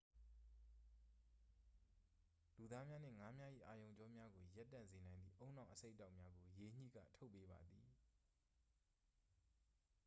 လူသားများနှင့် ငါးများ၏ အာရုံကြောများကို ရပ်တန့်စေနိုင်သည့် ဦးနှောက်အဆိပ်အတောက်များကို ရေညှိက ထုတ်ပေးပါသည်